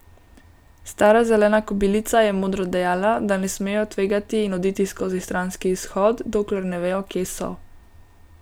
Stara zelena kobilica je modro dejala, da ne smejo tvegati in oditi skozi stranski izhod, dokler ne vejo, kje so.